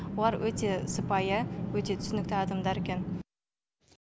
олар өте сыпайы өте түсінікті адамдар екен